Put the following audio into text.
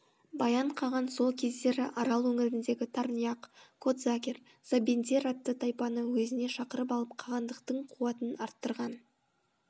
баян қаған сол кездері арал өңіріндегі тарнияқ котзагер забендер атты тайпаны өзіне шақырып алып қағандықтың қуатын арттырған